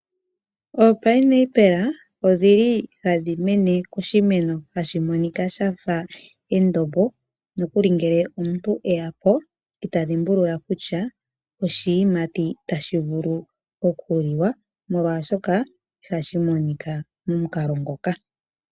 Oopinepela odhi li ha dhi mene koshimeno hashi monika shafa endombo, nokuli ngele omuntu eya po ita dhimbulula kutya oshiyimati tashi vulu okuliwa molwaashoka ihashi monika momukalo ngoka.